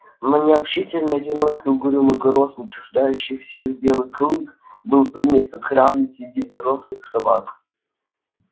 но необщительный одинокий угрюмый грозный чуждающийся всех белый клык был принят как равный в среду взрослых собак